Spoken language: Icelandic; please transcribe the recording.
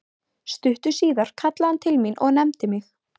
Stuttu síðar kallaði hann til mín og nefndi mig